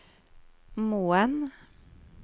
Moen